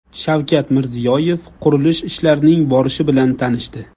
Shavkat Mirziyoyev qurilish ishlarining borishi bilan tanishdi.